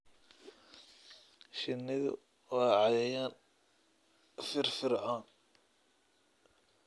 Shinnidu waa cayayaan firfircoon.